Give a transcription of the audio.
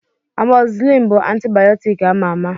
Amọzisilin bụ antibayọtik ama ama.